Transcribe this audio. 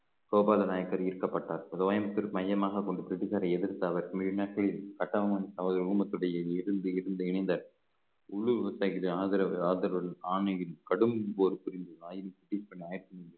கோபால நாயக்கர் ஈர்க்கப்பட்டார் கோயம்புத்தூர் மையமாக கொண்டு பிரிட்டிஷரை எதிர்த்து அவர் மீண்ட கட்டபொம்மன் அவர்கள் ஊமத்துடைய இருந்து இருந்து இணைந்த ஆதரவு ஆதரவு ஆணையின் கடும் போர் புரிந்தது